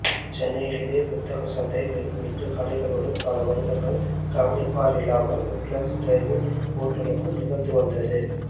சென்னையில் இதே புத்தகச்சந்தை வெறும் எட்டு கடைகளுடன் பலவருடங்கள் கவனிப்பாரில்லாமல் உட்லான்ட்ஸ் டிரைவ் இன் ஓட்டலுக்குள் நிகழ்ந்துவந்தது